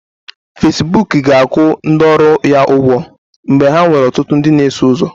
Facibụkụ ga-akwụ ndị ọrụ ya ụgwọ mgbe ha nwere ọtụtụ ndị na-eso ụzọ